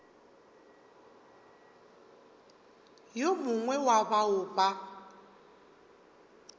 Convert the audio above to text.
yo mongwe wa bao ba